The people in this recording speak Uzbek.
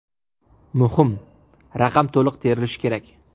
Muhim: raqam to‘liq terilishi kerak.